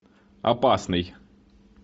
опасный